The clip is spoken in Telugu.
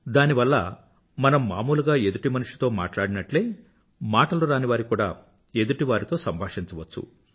దానివల్ల మనం మామూలుగా ఎదుటిమనిషితో మాట్లాడినట్లే మాటలురానివారు కూడా ఎదుటివారితో సంభాషించవచ్చు